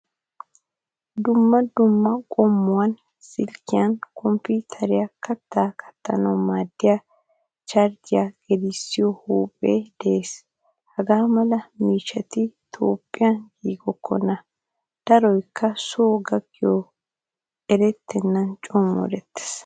Dumma dumma qommuwan silkiyaa kompiteriyaa katta kattanawu maadiyaa charjjiya gelisiyo huuphphe de'ees. Hagaamala miishshati toophphiyan giigokkona. Daroykka so gakkidoy erettena co moorettees.